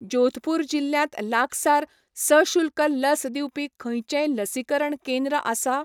जोधपूर जिल्ल्यांत लागसार सशुल्क लस दिवपी खंयचेंय लसीकरण केंद्र आसा?